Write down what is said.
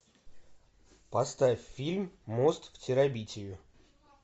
поставь фильм мост в терабитию